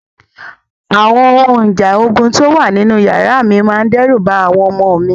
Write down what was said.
Àwọn ohun ìjà ogun tó wà nínú yàrá mi máa dẹ́rù ba àwọn ọmọ mi.